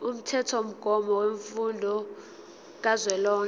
umthethomgomo wemfundo kazwelonke